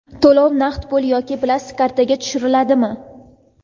To‘lov naqd pul yoki plastik kartaga tushiriladimi?.